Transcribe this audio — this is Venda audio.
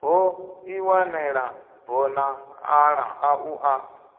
no ḓiwanela bodzanḓala ḽaṋu a